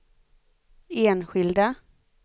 enskilda